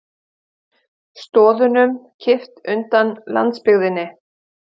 Stoðunum kippt undan landsbyggðinni